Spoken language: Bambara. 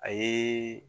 A ye